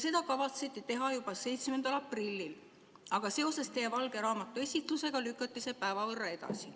Seda kavatseti teha juba 7. aprillil, aga seoses teie valge raamatu esitlusega lükati see päeva võrra edasi.